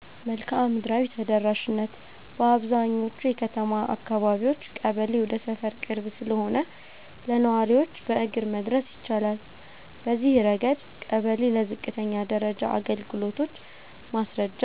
1. መልክዓ ምድራዊ ተደራሽነት - በአብዛኛዎቹ የከተማ አካባቢዎች ቀበሌ ወደ ሰፈር ቅርብ ስለሆነ ለነዋሪዎች በእግር መድረስ ይቻላል። በዚህ ረገድ ቀበሌ ለዝቅተኛ ደረጃ አገልግሎቶች (ማስረጃ፣